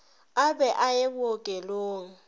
a be a ye bookelong